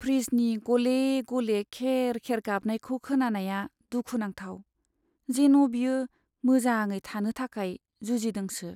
फ्रिजनि गले गले खेर खेर गाबनायखौ खोनानाया दुखु नांथाव, जेन' बियो मोजाङै थानो थाखाय जुजिदोंसो।